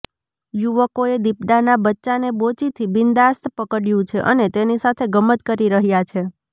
યુવકોએ દીપડાના બચ્ચાને બોચીથી બિન્દાસ્ત પકડ્યું છે અને તેની સાથે ગમ્મત કરી રહ્યા છે